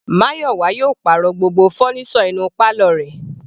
Mayowa yóò pàrọ̀ gbogbo fọ́nísọ̀ inú pálọ̀ rẹ̀.